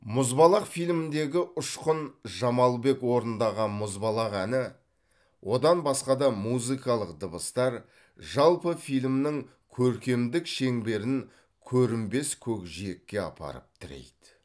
мұзбалақ фильміндегі ұшқын жамалбек орындаған мұзбалақ әні одан басқа да музыкалық дыбыстар жалпы фильмнің көркемдік шеңберін көрінбес көкжиекке апарып тірейді